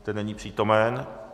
Ten není přítomen.